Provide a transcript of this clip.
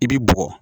I bi bɔgɔ